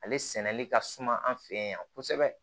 Ale sɛnɛli ka suma an fɛ yan kosɛbɛ